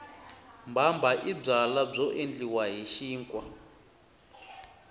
mbhambha i byala byo endliwa hi xinkwa